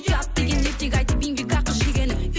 ұят деген ертегі айтып еңбек ақы жегенің